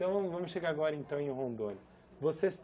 Então, vamos vamos chegar agora então em Rondônia.